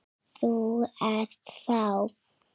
Þú ert þá?